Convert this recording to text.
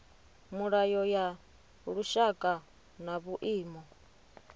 milayo ya lushaka na vhuimo